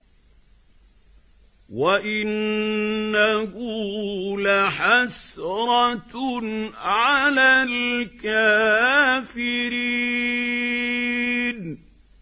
وَإِنَّهُ لَحَسْرَةٌ عَلَى الْكَافِرِينَ